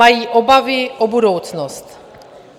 Mají obavy o budoucnost.